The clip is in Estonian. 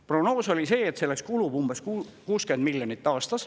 Prognoos oli see, et selleks kulub umbes 60 miljonit aastas.